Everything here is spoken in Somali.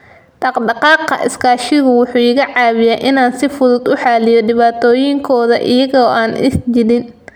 Dhaqdhaqaaqa iskaashigu wuxuu iga caawiyaa inaan si fudud u xalliyo dhibaatooyinkooda iyaga oo aan is jiidin.